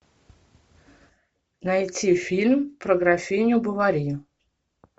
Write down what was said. найти фильм про графиню бовари